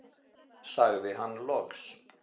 sagði hann loks.